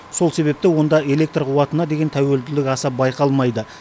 сол себепті онда электр қуатына деген тәуелділік аса байқалмайды